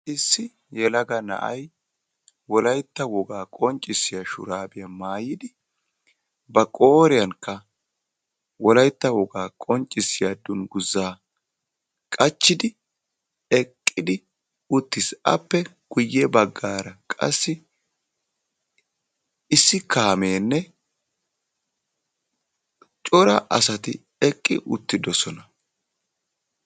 issi yelaga na"ay woalytta woga shurabiya maayidi bari qooriyan woga dunguzza qachidi eqiisi a guyessanikka bootta kaame eqiisi yabagarakka yelaga naati issippe shiiqidi beettossona.